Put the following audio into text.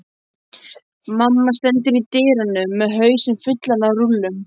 Mamma stendur í dyrunum með hausinn fullan af rúllum.